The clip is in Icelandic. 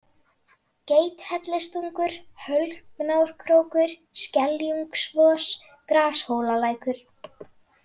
Geithellistungur, Hölknárkrókur, Skeljungskvos, Grashólalækur